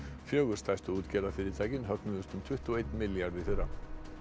fjögur stærstu útgerðarfyrirtækin högnuðust um tuttugu og einn milljarð í fyrra